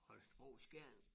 Holstebro og Skjern